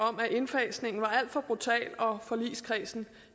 om at indfasningen var alt for brutal og forligskredsen